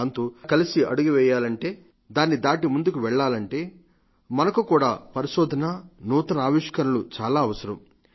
దాంతో కలసి అడుగు వేయాలంటే దాన్ని దాటి ముందుకు వెళ్లాలంటే మనకు కూడా పరిశోధన నూతన పరికల్పన చాలా అవసరం